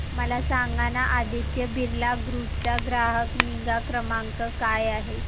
मला सांगाना आदित्य बिर्ला ग्रुप चा ग्राहक निगा क्रमांक काय आहे